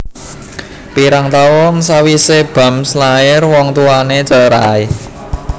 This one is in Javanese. Pirang taun sawisé Bams lair wong tuwané cerai